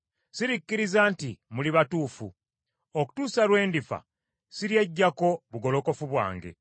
Sirikkiriza nti muli batuufu; okutuusa lwe ndifa, siryeggyako bugolokofu bwange.